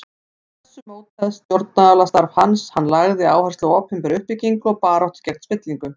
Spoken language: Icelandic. Af þessu mótaðist stjórnmálastarf hans, hann lagði áherslu á opinbera uppbyggingu og baráttu gegn spillingu.